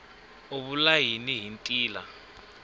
u vula yini hi ntila